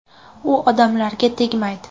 U odamlarga tegmaydi’ ”.